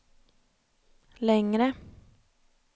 längre